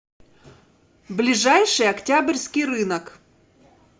ближайший октябрьский рынок